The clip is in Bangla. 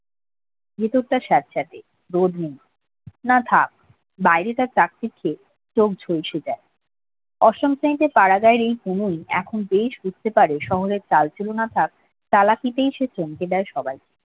ভেতরটা সেতসেতে রোদ নেই না থাক বাইরে চোখ ঝলসে যায় অষ্টম শ্রেণীতে পুনু এখন বেশ বুঝতে পারে শহরে চালাকিতেই সে চমকে দেয় সবাইকে